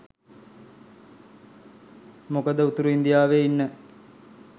මොකද උතුරු ඉන්දියාවේ ඉන්න